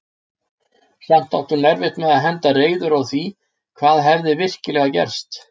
Samt átti hún erfitt með að henda reiður á því hvað hefði virkilega gerst.